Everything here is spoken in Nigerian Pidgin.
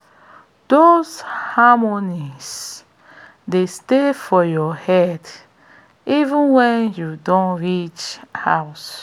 those harmonies dey stay for your head even wen you don reach house